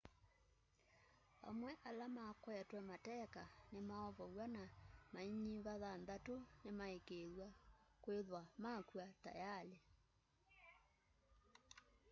amwe ma ala makwetwe mateka nimaovow'a na mainyiva thanthatu nimaikiithwa kithwa makw'a tayali